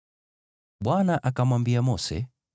Bwana akamwambia Mose,